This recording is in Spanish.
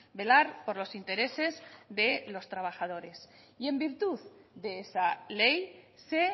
velar por los intereses de los trabajadores y en virtud de esa ley se